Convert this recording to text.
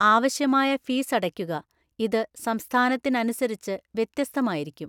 ആവശ്യമായ ഫീസ് അടയ്ക്കുക ഇത് സംസ്ഥാനത്തിനനുസരിച്ച് വ്യത്യസ്തമായിരിക്കും.